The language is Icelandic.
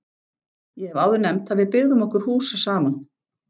Ég hef áður nefnt að við byggðum okkur hús saman.